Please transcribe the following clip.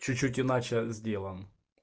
чуть-чуть иначе сделан